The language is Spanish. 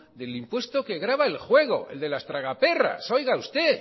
del impuesto que grava el juego el de las tragaperras un